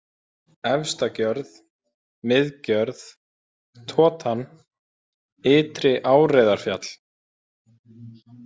Efstagjörð, Miðgjörð, Totan, Ytri-Áreiðarfjall